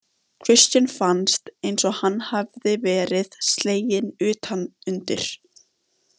Christian fannst eins og hann hefði verið sleginn utan undir.